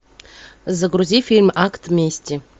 загрузи фильм акт мести